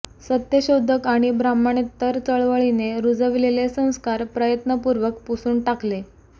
सत्यशोधक आणि ब्राह्मणेतर चळवळीने रुजविलेले संस्कार प्रयत्नपूर्वक पुसून टाकले